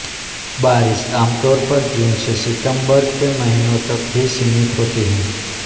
बारिश आमतौर पर जून से सितंबर के महीनों तक ही सीमित होती है